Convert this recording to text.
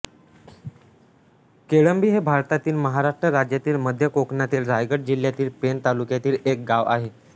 केळंबी हे भारतातील महाराष्ट्र राज्यातील मध्य कोकणातील रायगड जिल्ह्यातील पेण तालुक्यातील एक गाव आहे